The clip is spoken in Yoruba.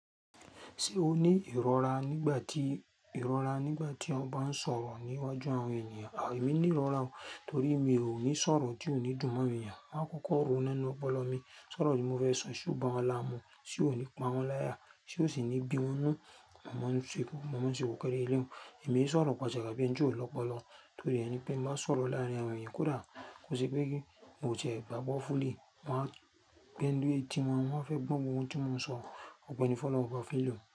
Ṣé o ní ìrora nígbà tí, ìrora nígbà tí ọ bá ń sọ̀rọ̀ ní iwájú àwọn ènìyàn? Emí ní ìrora o torí mi ò ní sọ̀rọ̀ tí ò ní dùn mọ́ ènìyàn. Maa kọ́kọ́ ronú nínú ọpọlọ mi, sọ̀rọ̀ tí mo fẹ́ sọ so boo lara mu, sì ó ní pa wọ́n láya, sì ó sì ní bí wọ́n nnú, mọ̀ ọ́n ṣe kù, mọ̀ ọ́n ṣe kò kéré lẹ́ẹ̀mu. Emí e sọ̀rọ̀ pàṣapasà bí ẹni tí ò lọ́pọlọ torí ẹni pé bi nbá sọ̀rọ̀ láàárín àwọn ènìyàn kódà bó ti pé kí n ò jẹ ìgbàgbọ́ fúùlí, wọ́n á gbéńdú ètí wọn, wọ́n á fẹ́ gbọ́ ohun tí mo ń sọ, ògò ni fọ́lohun oba feleun.